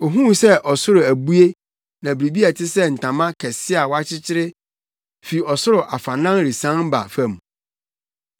Ohuu sɛ ɔsoro abue na biribi a ɛte sɛ ntama kɛse a wɔakyekyere fi ɔsoro afanan resian ba fam.